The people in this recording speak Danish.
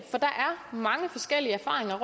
mange forskellige erfaringer